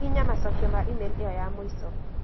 Hihinya macokio ma e-mail ĩyo ya mũico